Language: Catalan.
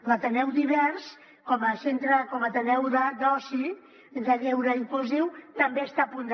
l’ateneu divers com a ateneu d’oci de lleure inclusiu també està a punt de